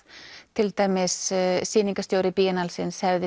til dæmis sýningarstjóri salsins hefði